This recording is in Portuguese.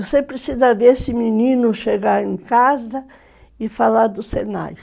Você precisa ver esse menino chegar em casa e falar do Senai